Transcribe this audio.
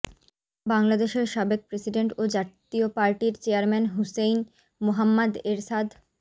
বাংলাদেশের সাবেক প্রেসিডেন্ট ও জাতীয় পার্টির চেয়ারম্যান হুসেইন মোহা্ম্মাদ এরশাদ